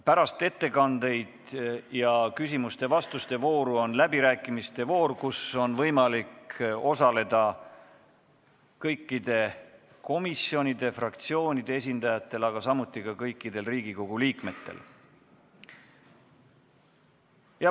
Pärast ettekandeid ja küsimuste-vastuste vooru on läbirääkimiste voor, kus on võimalik osaleda kõikide komisjonide ja fraktsioonide esindajatel, samuti kõikidel Riigikogu liikmetel.